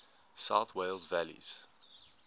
south wales valleys